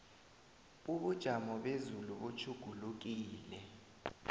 ubujamo bezulu butjhugulukile